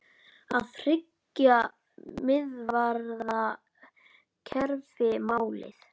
Er þriggja miðvarða kerfi málið?